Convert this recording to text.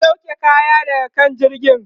ku sauke kaya daga kan jirgin!